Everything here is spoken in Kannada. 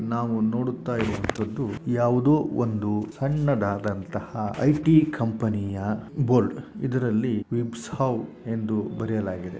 ನಾವು ನೋಡುತ್ತಾಇರುವಂಥದ್ದು ಯಾವುದೋ ಒಂದು ಸಣ್ಣದಾದಂತಹ ಐ.ಟಿ. ಕಂಪನಿ ಯ ಬೋರ್ಡ್ ಇದರಲ್ಲಿ ವಿಬ್ಸ್ ಹೌ ಎಂದು ಬರೆಯಲಾಗಿದೆ.